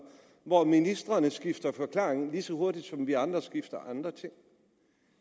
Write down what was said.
hvor ministrene skifter forklaring lige så hurtigt som vi andre skifter andre ting